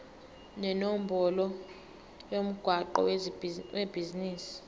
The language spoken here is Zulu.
nenombolo yomgwaqo webhizinisi